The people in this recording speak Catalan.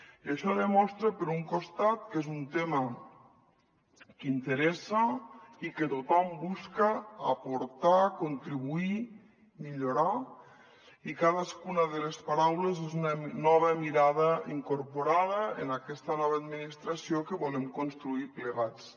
i això demostra per un costat que és un tema que interessa i que tothom busca aportar hi contribuir hi millorar i cadascuna de les paraules és una nova mirada incorporada en aquesta nova administració que volem construir plegats